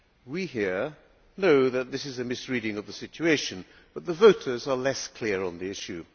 We here know that this is a misreading of the situation, but the voters are less clear on the issue.